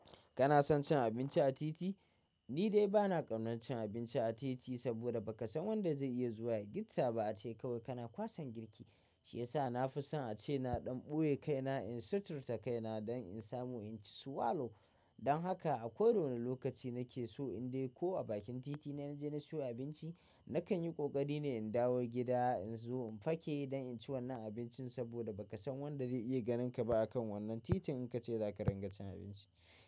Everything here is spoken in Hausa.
Kana son cin abinci a titi? Ni dai bana ƙaunan cin abinci a titi saboda ba ka san wanda zai iya zuwa ya gitta ba. Ace kawai kana kwasan girki shiyasa na fi son ace na ɗan ɓoye kaina in suturta kaina don in samu in ci swalo. Don haka a koda wane lokaci nake so in dai ko a bakin titi ne na je na siyo abinci, na kan yi ƙoƙari ne in dawo gida in zo in fake don in ci wannan abincin saboda ba ka san wanda zai iya ganin ka ba a kan wannan titin in ka ce za ka ringa cin abinci.